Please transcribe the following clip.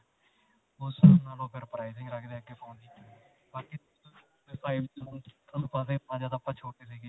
ਉਸ ਹਿਸਾਬ ਨਾਲ ਓਹ ਫਿਰ pricing ਰਖਦੇ ਆ ਅੱਗੇ phone ਦੀ ਬਾਕੀ five G ਤੁਹਾਨੂੰ ਪਤਾ ਹੀ ਹੈ ਜਦੋ ਆਪਾਂ ਛੋਟੇ ਸੀਗੇ.